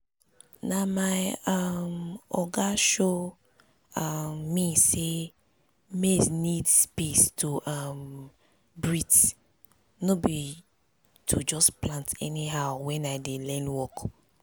na my um oga show um me say maize need space to um breathe no be to just plant anyhowwhen i dey learn work